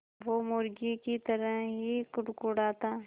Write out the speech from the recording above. वो मुर्गी की तरह ही कुड़कुड़ाता